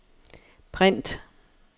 print